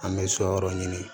An bɛ so yɔrɔ ɲini